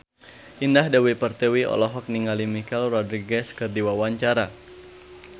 Indah Dewi Pertiwi olohok ningali Michelle Rodriguez keur diwawancara